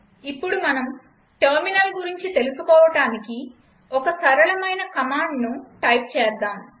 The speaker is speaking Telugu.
ఇప్పుడు మనం టెర్మినల్ గురించి తెలుసుకోవడానికి ఒక సరళమైన కమాండ్ను టైప్ చేద్దాం